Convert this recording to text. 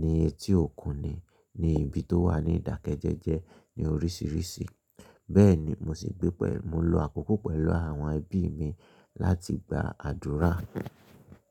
ní etí òkun ni ní ibi tó wà ní ìdàkejẹjẹ ní oríṣìíríṣìí. Bẹ́ẹ̀ ni mo sì gbé pẹ̀, mo nlo àkókò pẹ̀lú àwọn ẹbí mi láti gba àdúrà.